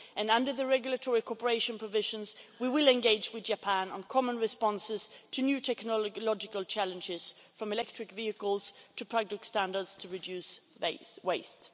Under the regulatory cooperation provisions, we will engage with Japan on common responses to new technological challenges, from electric vehicles to product standards, to reducing waste.